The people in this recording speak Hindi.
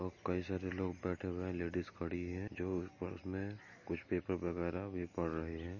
और कई सारे लोग बैठे हुए हैं लेडिज खड़ी है जो फर्श में कुछ पेपर वगैरा भी पढ़ रहे है।